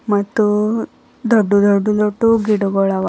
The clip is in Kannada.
ಮತ್ತು ದೊಡ್ಡು ದೊಡ್ಡು ದೊಡ್ಡು ಗಿಡಗುಳವ.